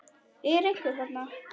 Er einhver þarna?